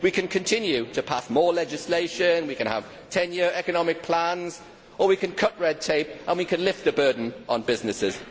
We can continue to pass more legislation, we can have ten year economic plans, or we can cut red tape and lift the burden on businesses.